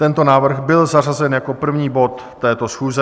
Tento návrh byl zařazen jako první bod této schůze.